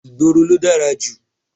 Ìgboro ló dára jù.